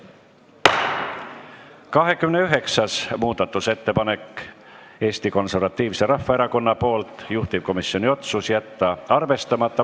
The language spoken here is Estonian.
29. muudatusettepanek on Eesti Konservatiivselt Rahvaerakonnalt, juhtivkomisjoni otsus: jätta arvestamata.